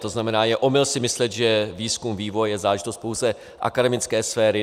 To znamená, je omyl si myslet, že výzkum, vývoj je záležitost pouze akademické sféry.